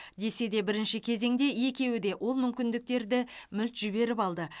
десе де бірінші кезеңде екеуі де ол мүмкіндіктерді мүлт жіберіп алды